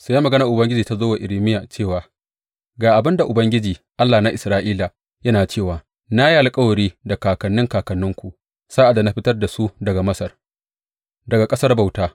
Sai maganar Ubangiji ta zo wa Irmiya cewa, Ga abin da Ubangiji, Allah na Isra’ila, yana cewa na yi alkawari da kakanni kakanninku sa’ad da na fitar da su daga Masar, daga ƙasar bauta.